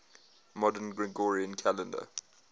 modern gregorian calendar